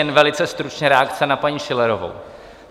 Jen velice stručně reakce na paní Schillerovou.